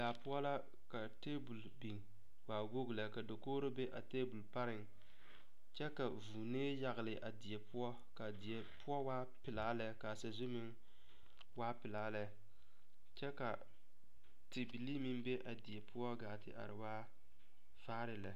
Daa poɔ la ka table biŋ waa wogi lɛ ka dakogro be a table pareŋ kyɛ ka vuunee yagle a die poɔ ka die poɔ waa pelaa kyɛ ka a sazu meŋ waa pelaa lɛ kyɛ ka tebilii meŋ be a die poɔ gaa te are waa vaare lɛ.